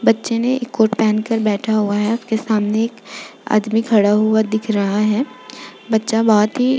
बच्चे ने एक कोट पहन कर बैठा हुआ है आपके सामने एक आदमी खड़ा हुआ दिख रहा है बच्चा बहौत ही --